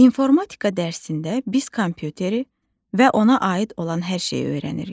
İnformatika dərsində biz kompüteri və ona aid olan hər şeyi öyrənirik.